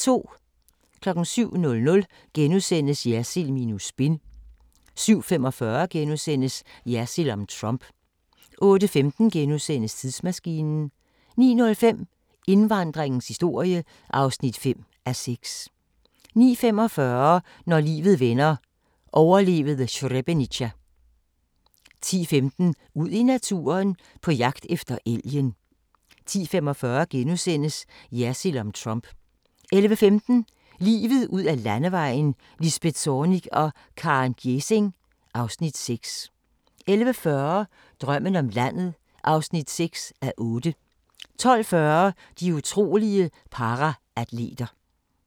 07:00: Jersild minus spin * 07:45: Jersild om Trump * 08:15: Tidsmaskinen * 09:05: Indvandringens historie (5:6) 09:45: Når livet vender – overlevede Srebrenica 10:15: Ud i naturen: På jagt efter elgen 10:45: Jersild om Trump * 11:15: Livet ud ad Landevejen: Lisbeth Zornig og Karen Gjesing (Afs. 6) 11:40: Drømmen om landet (6:8) 12:40: De utrolige paraatleter